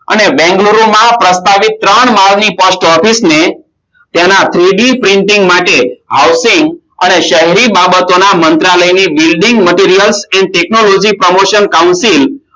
અને બેંગ્લોરમાં પ્રસ્તાવીસ ત્રણ માળની Post Office તેના three d printing માટે હવસિંગ અને શેરી બાબતોના મંત્રાલય ની buildingMaterials TechnologyPromotion counting